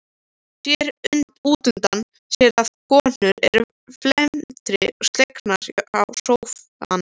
Sér útundan sér að konurnar eru felmtri slegnar hjá sófanum.